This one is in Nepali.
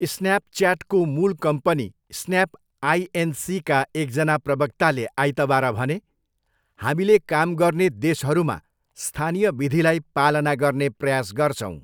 स्न्यापच्याटको मूल कम्पनी स्न्याप आइएनसीका एकजना प्रवक्ताले आइतबार भने, 'हामीले काम गर्ने देशहरूमा स्थानीय विधिलाई पालना गर्ने प्रयास गर्छौँ'।